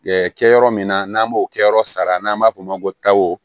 kɛyɔrɔ min na n'an b'o kɛ yɔrɔ sara n'an b'a f'o ma ko taw